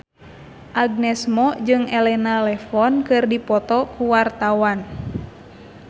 Agnes Mo jeung Elena Levon keur dipoto ku wartawan